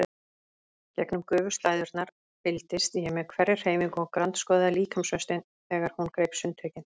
Gegnum gufuslæðurnar fylgdist ég með hverri hreyfingu og grandskoðaði líkamsvöxtinn þegar hún greip sundtökin.